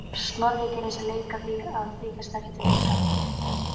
Snorri gerði sér leik að því að þykjast ekkert vita.